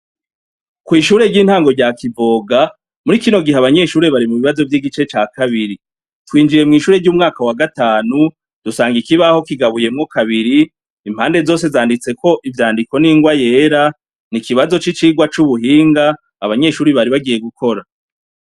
Kwishure ryintango rya Kivoga muri kino gihe abanyeshure bari mubibazo vyigice ca kabiri twinjiye mwishure ryo mu mwaka wa gatanu dusanga ikibaho kigabuyemwo kabiri impande zose zanditseko ivyandiko n'ingwa yera n'ikibazo cicigwa cubuhinga abanyeshure bari bagiye gukora.